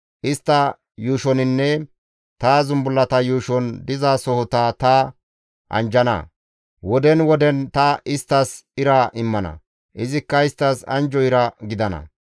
Istta yuushoninne ta zumbullata yuushon dizasohota ta anjjana. Woden woden ta isttas ira immana; izikka isttas anjjo ira gidana.